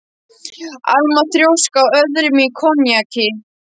Alma þrjósk á öðrum í konjaki.